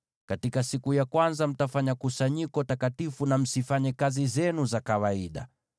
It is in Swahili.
Katika siku ya kwanza, mtakuwa na kusanyiko takatifu, na msifanye kazi zenu za kawaida.